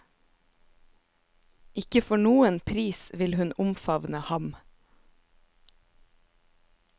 Ikke for noen pris vil hun omfavne ham.